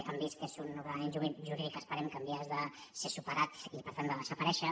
han vist que és un ordenament jurídic esperem que en vies de ser superat i per tant de desaparèixer